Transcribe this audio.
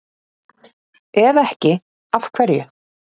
Ef ekki, af hverju?